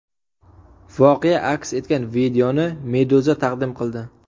Voqea aks etgan videoni Meduza taqdim qildi .